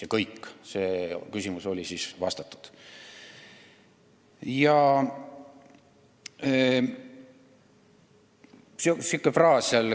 Ja kõik – see küsimus oligi vastatud.